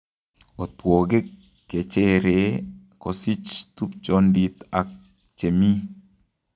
Otwogik kecheree kosich tubchondit ak chemii